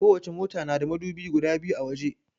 Kowace mota na da madubi guda biyu a waje.